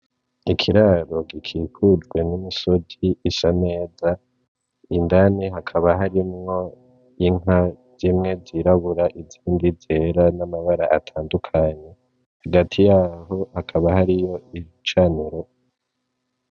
Ni ikiraro gikikujwe nimisozi isa neza , indani hakaba harimwo inka zimwe z'irabura izindi zera n'amabara atandukanye , hagati yaho hakaba hariho igicaniro.